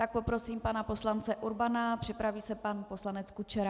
Tak poprosím pana poslance Urbana, připraví se pan poslanec Kučera.